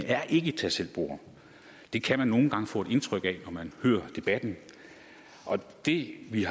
er et tag selv bord det kan man nogle gange få indtryk af når man hører debatten det vi